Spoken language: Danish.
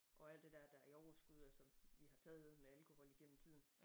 Og alt det dér der i overskud og som vi har taget med alkohol igennem tiden